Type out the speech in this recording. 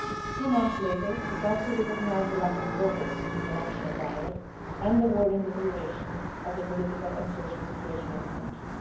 Two months later, the Council recognised the lack of progress in the national dialogue and the worrying deterioration of the political and social situation in the country.